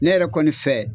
Ne yɛrɛ kɔni fɛ